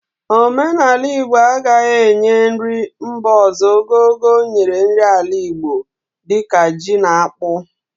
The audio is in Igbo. Omenala Igbo agaghi enye nri mba ọzọ ogogo o nyere nri ala Igbo di ka ji na akpu